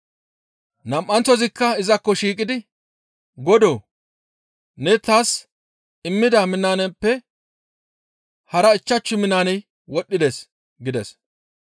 «Nam7anththozikka izakko shiiqidi, ‹Godoo! Ne taas immida minaaneppe hara ichchashu minaaney wodhdhides› gides.